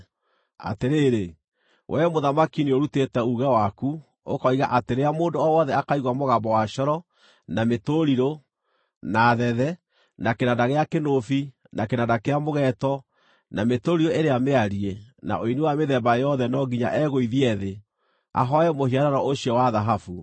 Atĩrĩrĩ, wee mũthamaki nĩũrutĩte uuge waku, ũkoiga atĩ rĩrĩa mũndũ o wothe akaigua mũgambo wa coro, na mĩtũrirũ, na thethe, na kĩnanda gĩa kĩnũbi, na kĩnanda kĩa mũgeeto, na mĩtũrirũ ĩrĩa mĩariĩ, na ũini wa mĩthemba yothe no nginya egũithie thĩ, ahooe mũhianano ũcio wa thahabu,